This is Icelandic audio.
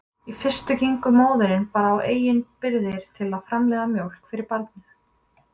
Í fyrstu gengur móðirin bara á eigin birgðir til að framleiða mjólk fyrir barnið.